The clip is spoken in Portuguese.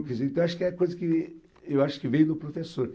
Quer dizer, então, eu acho que é coisa que eu acho que vem do professor.